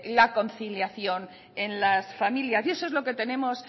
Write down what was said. la conciliación en las familias y eso es lo que tenemos